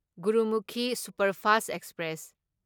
Gurmukhi superfast express